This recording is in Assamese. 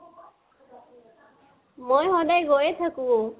মই সদায় গৈয়ে থাকো